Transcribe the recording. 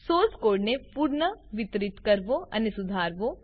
source કોડને પુનઃવિતરિત કરવો અને સુધારવો